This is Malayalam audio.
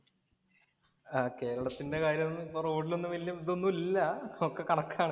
കേരളത്തിന്‍റെ കാര്യം ഒന്നും ഇപ്പം റോഡിൽ ഒന്നും ഇതൊന്നും ഇല്ല. ഒക്കെ കണക്കാണ്.